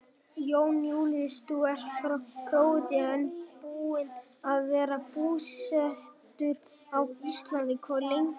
Jón Júlíus: Þú ert frá Króatíu en búinn að vera búsettur á Íslandi hvað lengi?